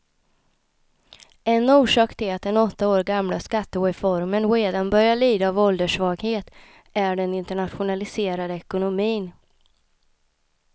En orsak till att den åtta år gamla skattereformen redan börjar lida av ålderssvaghet är den internationaliserade ekonomin.